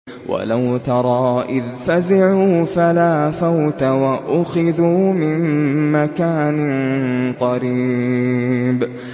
وَلَوْ تَرَىٰ إِذْ فَزِعُوا فَلَا فَوْتَ وَأُخِذُوا مِن مَّكَانٍ قَرِيبٍ